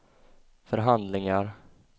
förhandlingar